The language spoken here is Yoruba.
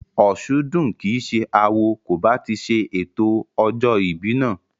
Òsúndùn kìí ṣe awo kò bá ti ṣe ètò ọjọ́ ìbí náà